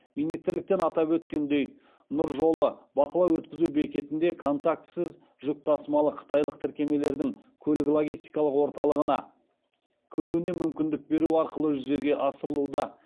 министрліктен атап өткендей нұр жолы бақылау өткізу бекетінде контактісіз жүк тасымалы қытайлық тіркемелердің көлік логистикалық орталығына кіруіне мүмкіндік беру арқылы жүзеге асырылуда